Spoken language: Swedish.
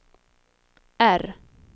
R